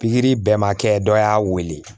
Pikiri bɛɛ ma kɛ dɔ y'a wele